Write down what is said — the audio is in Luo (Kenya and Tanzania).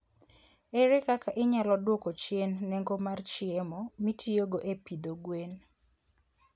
Ere kaka inyalo dwoko chien nengo mar chiemo mitiyogo e pidho gwen?